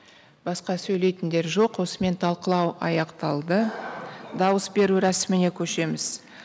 басқа сөйлейтіндер жоқ осымен талықылау аяқталды дауыс беру рәсіміне көшеміз